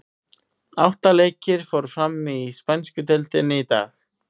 Átta leikir fóru fram í spænsku deildinni í dag.